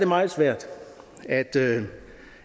meget svært